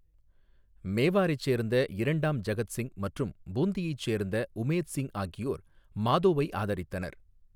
மேவாரைச் சேர்ந்த இரண்டாம் ஜகத் சிங் மற்றும் பூந்தியை சேர்ந்த உமேத் சிங் ஆகியோர் மாதோவை ஆதரித்தனர்.